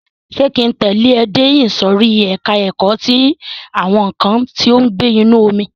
Ṣé ki ń tẹ̀lẹ́ ẹ dé ìsòrí ẹka ẹ̀kọ́ ti àwọn nǹkan tí ó ń gbé inú omi?